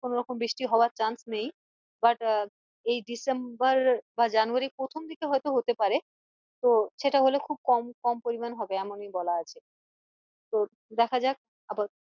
কোনোরকম বৃষ্টি হওয়ার chance নেই but আহ এই december বা january র প্রথম দিকে হয়তো হতে পারে তো সেটা হলে খুব কম কম পরিমানে হবে এমনি বলা আছে তো দেখা যাক আপাতত